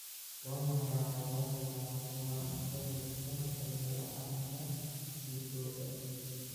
Waa maxay calaamadaha iyo calaamadaha cudurka dhalmo la'aanta Dhegoole?